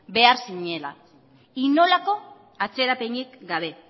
behar zirela inolako atzerapenik gabe